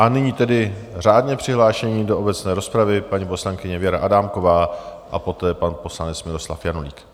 A nyní tedy řádně přihlášení do obecné rozpravy - paní poslankyně Věra Adámková a poté pan poslanec Miloslav Janulík.